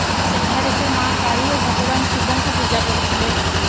ସେଠାରେ ସେ ମାଁ କାଳି ଓ ଭଗବାନ ଶିବଙ୍କୁ ପୂଜା କରୁଥିଲେ